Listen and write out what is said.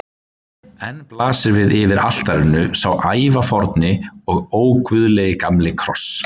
Enn blasir við yfir altarinu sá ævaforni og óguðlegi gamli kross.